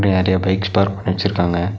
நெறைய bikes park பண்ணி வெச்சிருக்காங்க.